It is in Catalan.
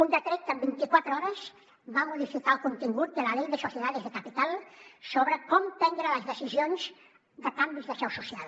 un decret que en vint iquatre hores va modificar el contingut de la ley de sociedades de capital sobre com prendre les decisions de canvis de seu social